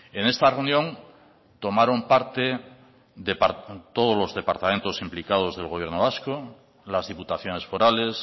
en esta reunión tomaron parte todos los departamentos implicados del gobierno vasco las diputaciones forales